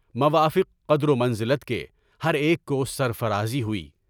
موافقِ قدر و منزلت کے ہر ایک کو سر فرازی ہوئی۔